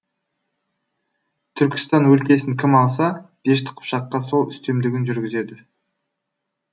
түркістан өлкесін кім алса дешті қыпшаққа сол үстемдігін жүргізеді